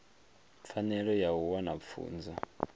pfanelo ya u wana pfunzo